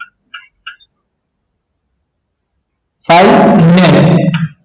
size ને